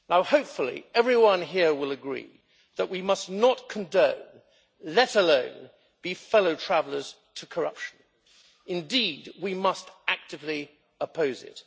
Hopefully, everyone here will agree that we must not condone let alone be fellow travellers to corruption. Indeed, we must actively oppose it.